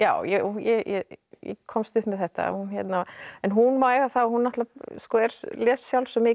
ég komst upp með þetta en hún má eiga það að hún les sjálf svo mikið